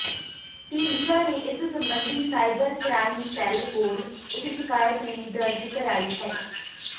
ਢੀਂਡਸਾ ਨੇ ਇਸ ਸਬੰਧੀ ਸਾਈਬਰ ਕ੍ਰਾਈਮ ਸੈੱਲ ਕੋਲ ਇਕ ਸ਼ਿਕਾਇਤ ਵੀ ਦਰਜ ਕਰਾਈ ਹੈ